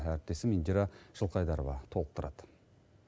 әріптесім индира жылқайдарова толықтырады